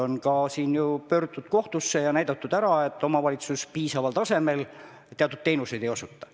On ka pöördutud kohtusse ja tõestatud ära, et omavalitsus teatud teenuseid piisaval tasemel ei osuta.